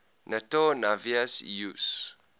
nato navies use